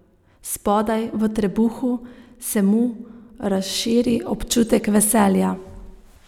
Spodaj, v trebuhu, se mu razširi občutek veselja.